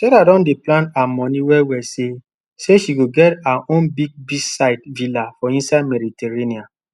sarah don dey plan her money well well say say she go get her own big beachside villa for inside mediterranean